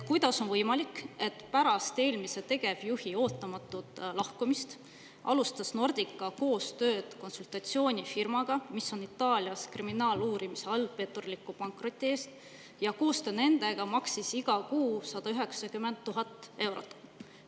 Kuidas on võimalik, et pärast eelmise tegevjuhi ootamatut lahkumist alustas Nordica koostööd konsultatsioonifirmaga, mis on Itaalias kriminaaluurimise all petturliku pankroti eest, ja koostöö nendega maksis iga kuu 190 000 eurot?